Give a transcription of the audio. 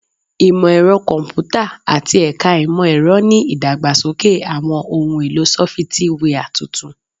Imọ-ẹrọ Kọmputa ati Ẹka Imọ-ẹrọ ni idagbasoke awọn ohun elo sọfitiwia tuntun